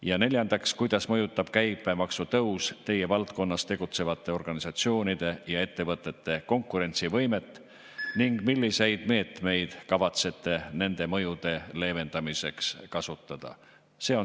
Ja neljandaks, kuidas mõjutab käibemaksu tõus teie valdkonnas tegutsevate organisatsioonide ja ettevõtete konkurentsivõimet ning milliseid meetmeid kavatsete nende mõjude leevendamiseks kasutada?